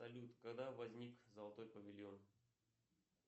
салют когда возник золотой павильон